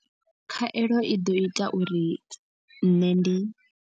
Khaelo i ḓo ita uri nṋe ndi.